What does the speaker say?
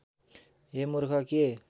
हे मूर्ख के